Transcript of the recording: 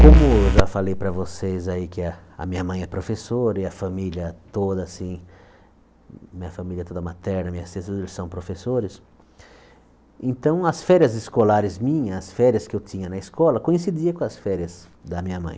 Como eu já falei para vocês aí que a a minha mãe é professora e a família toda assim, minha família toda materna, minhas tias são professores, então as férias escolares minha, as férias que eu tinha na escola, coincidia com as férias da minha mãe.